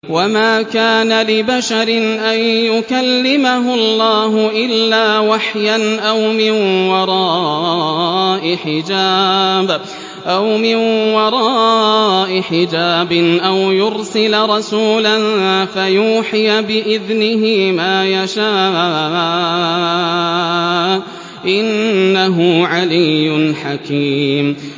۞ وَمَا كَانَ لِبَشَرٍ أَن يُكَلِّمَهُ اللَّهُ إِلَّا وَحْيًا أَوْ مِن وَرَاءِ حِجَابٍ أَوْ يُرْسِلَ رَسُولًا فَيُوحِيَ بِإِذْنِهِ مَا يَشَاءُ ۚ إِنَّهُ عَلِيٌّ حَكِيمٌ